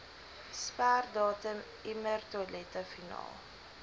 sperdatum emmertoilette finaal